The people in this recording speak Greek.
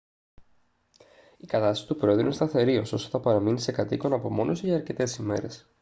η κατάσταση του προέδρου είναι σταθερή ωστόσο θα παραμείνει σε κατ' οίκον απομόνωση για αρκετές ημέρες